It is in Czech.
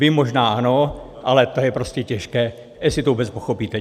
Vy možná ano, ale to je prostě těžké, jestli to vůbec pochopíte.